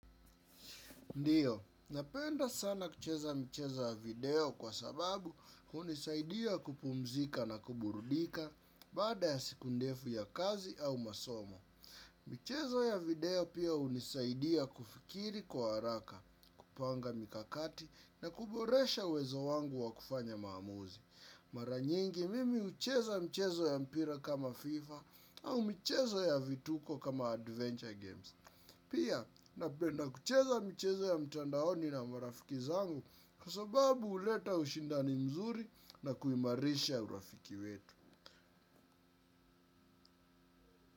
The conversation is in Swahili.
Ndiyo, napenda sana kucheza mchezo wa video kwa sababu hunisaidia kupumzika na kuburudika baada ya siku ndefu ya kazi au masomo. Michezo ya video pia hunisaidia kufikiri kwa haraka, kupanga mikakati na kuboresha uwezo wangu wa kufanya maamuzi. Mara nyingi, mimi hucheza mchezo ya mpira kama FIFA au mchezo ya vituko kama Adventure Games. Pia napenda kucheza michezo ya mtandaoni na marafiki zangu kwa sababu huleta ushindani mzuri na kuimarisha urafiki wetu.